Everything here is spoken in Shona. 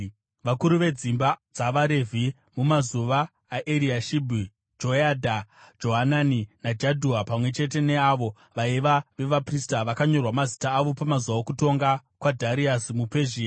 Vakuru vedzimba dzavaRevhi mumazuva aEriashibhi, Joyadha, Johanani naJadhua, pamwe chete neavo vaiva vevaprista, vakanyorwa mazita avo pamazuva okutonga kwaDhariasi muPezhia.